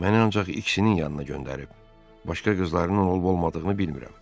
Məni ancaq ikisinin yanına göndərib, başqa qızlarının olub-olmadığını bilmirəm.